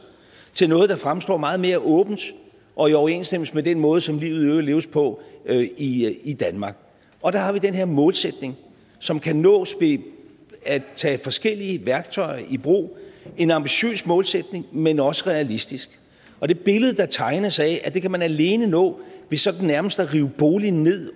til noget der fremstår meget mere åbent og i overensstemmelse med den måde som livet leves på i i danmark og der har vi den her målsætning som kan nås ved at tage forskellige værktøjer i brug en ambitiøs målsætning men også realistisk og det billede der tegnes af at det kan man alene nå ved sådan nærmest at rive boligen ned